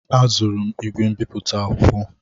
Azụrụ m ígwè mbipụta akwụkwọ.